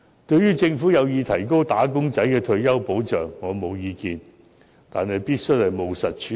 對於政府有意提高"打工仔"的退休保障，我沒有意見，但這個問題必須務實處理。